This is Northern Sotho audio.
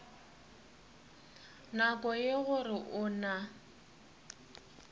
nako ye gore o na